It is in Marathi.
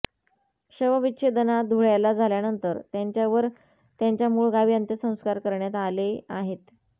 शवविच्छेदना धुळ्याला झाल्यानंतर त्यांच्यावर त्यांच्या मुळ गावी अंत्यसंस्कार करण्यात आले आहेत